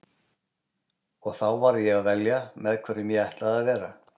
Og þá varð ég að velja með hverjum ég ætlaði að vera.